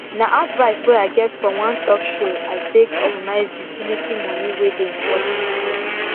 nah advice way i get from one talk show i take organize utility money way dey important